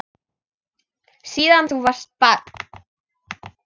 Síðan þú varst barn.